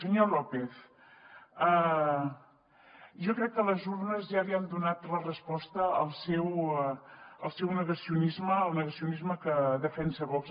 senyor lópez jo crec que les urnes ja li han donat la resposta al seu negacionisme al negacionisme que defensa vox